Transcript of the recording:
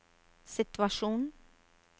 situasjon